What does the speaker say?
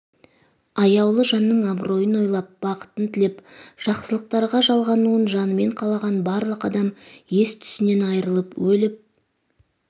аяулы жанының абыройын ойлап бақытын тілеп жақсылықтарға жалғануын жанымен қалаған барлық адам ес түсінен айырылып өліп